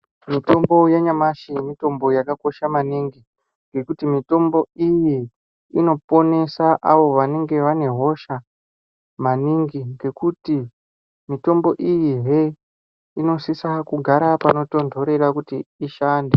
Mitombo yanyamashi mitombo yakakocha maningi ngekuti mitombo iyi inoponesa avo vanenge vane hosha maningi. Ngekuti mitombo iyihe inosisa kugara panotonhorera kuti ishande.